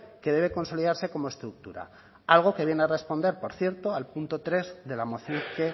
que debe consolidarse como estructura algo que viene a responder por cierto al punto tres de la moción que